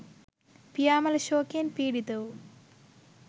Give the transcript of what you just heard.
පියා මළ ශෝකයෙන් පිඩිත වූ